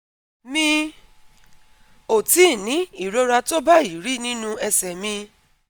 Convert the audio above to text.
Mi ò tíì ní ìrora tó báyìí rí nínú ẹsẹ̀ mi